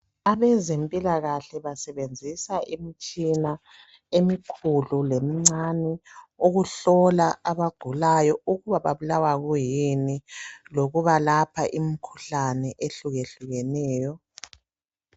Abezempilakahle basebenzisa imtshina emikhulu lemincane ukuhlola abagulayo ukuba babulawa kuyini lokubalapha imkhuhlane ehlukehlukeneyo.